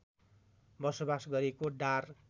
बसोबास गरेको डार